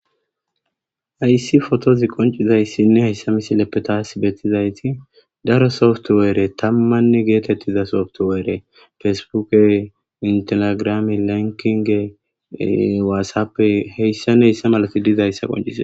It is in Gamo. Hayssi fotozi qoncizayssinne heyssa misileppe taas betizayti daro softuweere tammanne geetettiza softuweere fesbuke intelegrami lankinge waassappe heyssan heyssa malati dizayssa qoncize